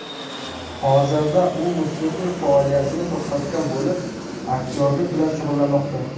Hozirda u musiqiy faoliyatini to‘xtatgan bo‘lib, aktyorlik bilan shug‘ullanmoqda.